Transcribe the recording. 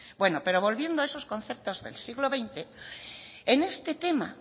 pero volviendo a esos conceptos del siglo veinte en este tema